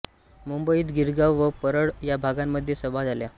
मुंबईत गिरगाव व परळ या भागांमध्ये सभा झाल्या